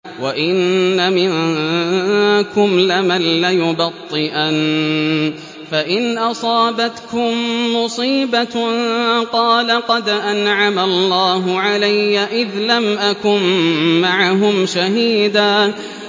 وَإِنَّ مِنكُمْ لَمَن لَّيُبَطِّئَنَّ فَإِنْ أَصَابَتْكُم مُّصِيبَةٌ قَالَ قَدْ أَنْعَمَ اللَّهُ عَلَيَّ إِذْ لَمْ أَكُن مَّعَهُمْ شَهِيدًا